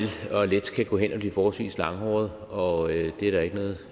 og let kan gå hen at blive forholdsvis langhåret og det er der ikke noget